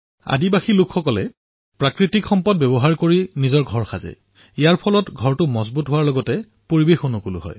আদিবাসী সম্প্ৰদায়ে নিজৰ বাসস্থানসমূহ প্ৰাকৃতিক সামগ্ৰীৰে নিৰ্মাণ কৰে আৰু এয়া শক্তিশালী হোৱাৰ লগতে পৰিবেশ অনুকূলো হয়